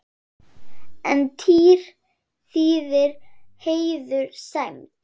En tír þýðir heiður, sæmd.